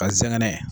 Ka zɛgɛnɛ